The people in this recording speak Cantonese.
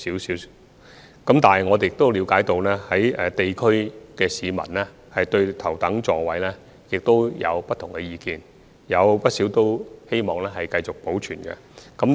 不過，我們也了解到，市民對頭等座位有不同的意見，有不少市民希望能夠繼續保留。